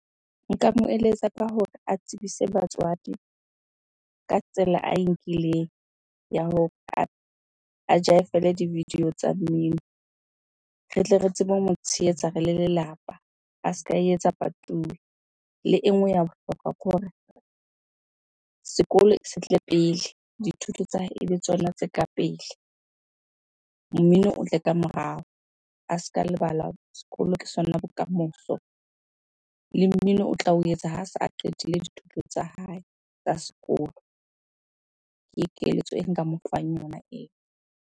Nka mo eletsa ka hore a tsebise batswadi ka tsela ae nkileng ya ho a jaefele di video tsa mmino. Re tle re tsebe ho mo tshehetsa re le lelapa, a se ka e etsa patuwe. Le e nngwe ya bohlokwa ke hore sekolo se tle pele, dithuto tsa hae ebe tsona tse ka pele, mmino o tle ka morao. A se ka lebala sekolo ke sona bokamoso, le mmino o tla o etsa ha se a qetile dithuto tsa hae tsa sekolo. Ke keletso e nka mofang yona eo.